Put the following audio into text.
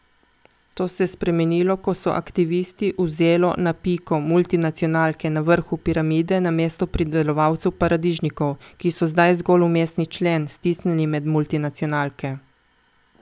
To se je spremenilo, ko so aktivisti vzelo na piko multinacionalke na vrhu piramide namesto pridelovalcev paradižnikov, ki so zdaj zgolj vmesni člen, stisnjeni med multinacionalke.